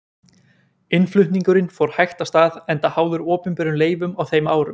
Innflutningurinn fór hægt af stað enda háður opinberum leyfum á þeim árum.